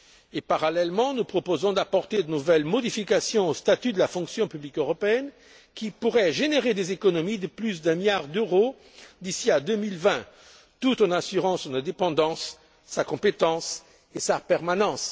Et, parallèlement à cela, nous proposons d'apporter de nouvelles modifications au statut de la fonction publique européenne, qui pourraient générer des économies de plus d'un milliard d'euros d'ici à 2020, tout en assurant son indépendance, sa compétence et sa permanence.